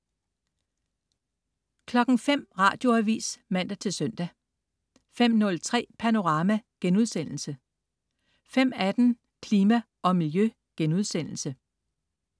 05.00 Radioavis (man-søn) 05.03 Panorama* 05.18 Klima og Miljø*